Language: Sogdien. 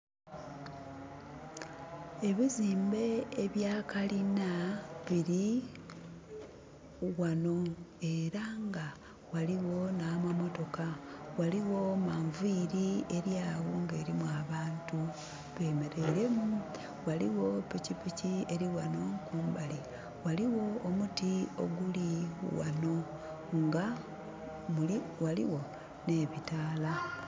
Ebizimbe ebya kalina biri wano era nga waliwo na mamotoka. Waliwo manviri eryawo nga erimu abantu bemereiremu. Waliwo pikipiki eriwano kumbali. Waliwo omuti oguli wano nga waliwo ne bitaala